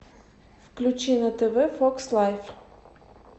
включи на тв фокс лайф